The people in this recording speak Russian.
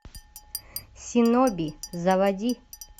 синоби заводи